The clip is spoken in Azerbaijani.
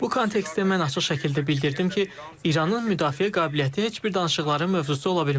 Bu kontekstdə mən açıq şəkildə bildirdim ki, İranın müdafiə qabiliyyəti heç bir danışıqların mövzusu ola bilməz.